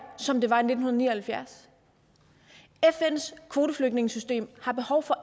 som det var i nitten ni og halvfjerds fns kvoteflygtningesystem har behov for